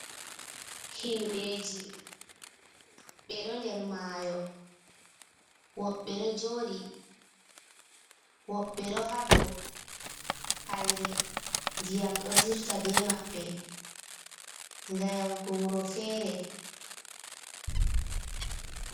Himɓeji be do der mayo ,woɓbe do jodi woɓbe do hado haire ndiyam do dirta be mabbe ga yawugo wuro fere.